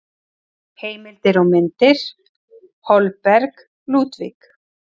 Heimildir og myndir: Holberg, Ludvig.